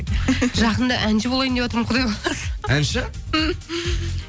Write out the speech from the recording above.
жақында әнші болайын деватырмын құдай қаласа әнші